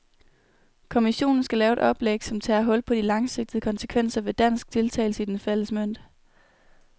Kommissionen skal lave et oplæg, som tager hul på de langsigtede konsekvenser ved dansk deltagelse i den fælles mønt.